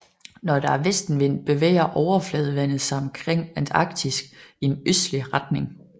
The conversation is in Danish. Når der er vestenvind bevæger overfladevandet sig omkring Antarktis i en østlig retning